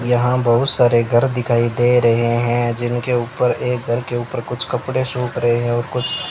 यहां बहुत सारे घर दिखाई दे रहे हैं जिनके ऊपर एक घर के ऊपर कुछ कपड़े सूख रहे हैं और कुछ --